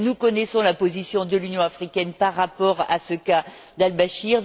Nous connaissons la position de l'Union africaine par rapport au cas Al Bachir.